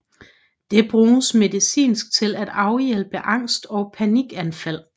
Det bruges medicinsk til at afhjælpe angst og panikanfald